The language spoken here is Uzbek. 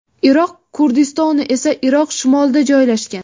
Iroq Kurdistoni esa Iroq shimolida joylashgan.